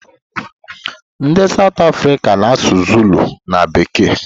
Ndị South Africa na-asụ zulu na bekee.